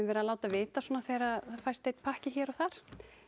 verið að láta vita svona þegar að fæst einn pakki hér og þar